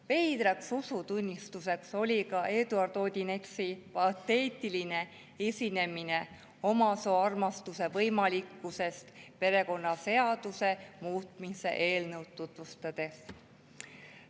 Veider usutunnistus oli ka Eduard Odinetsi pateetiline esinemine omasooarmastuse võimalikkusest perekonnaseaduse muutmise eelnõu tutvustades.